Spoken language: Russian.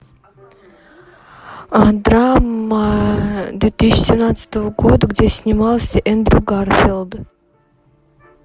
драма две тысячи семнадцатого года где снимался эндрю гарфилд